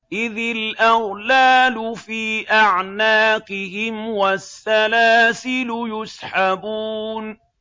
إِذِ الْأَغْلَالُ فِي أَعْنَاقِهِمْ وَالسَّلَاسِلُ يُسْحَبُونَ